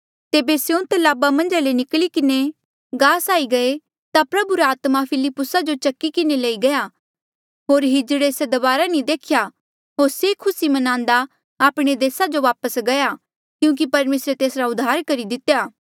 तेबे स्यों तलाब मन्झा ले निकली किन्हें गास आई गये ता प्रभु रा आत्मा फिलिप्पुसा जो चकी किन्हें लई गया होर किन्नरे से फेरी दबारा नी देख्या होर से खुसी म्नान्दा आपणे देसा जो वापस गया क्यूंकि परमेसरे तेसरा उद्धार करी दितेया